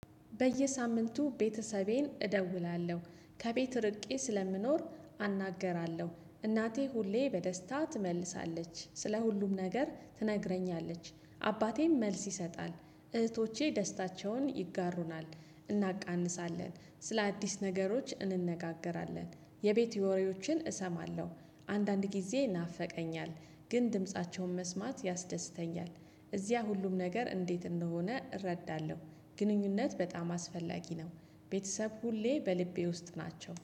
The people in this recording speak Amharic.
በየሳምንቱ ቤተሰቤን እደውላለሁ ከቤት ርቄ ስለምኖር አናገራለሁ እናቴ ሁሌ በደስታ ትመልሳለች ስለ ሁሉም ነገር ትነግረኛለች። አባቴም መልስ ይሰጣል። እህቶቼ ደስታቸውን ይጋሩናል። እናቃንሳለን ስለ አዲስ ነገሮች እንነጋገራለን። የቤት የወሬዎችን እሰማለሁ። አንዳንድ ጊዜ ይናፈቀኛል። ግን ድምፃቸውን መስማት ያስደስተኛል። እዚያ ሁሉም ነገር እንዴት እንደሆነ እረዳለሁ። ግንኙነት በጣም አስፈላጊ ነው። ቤተሰብ ሁሌ በልቤ ውስጥ ናቸው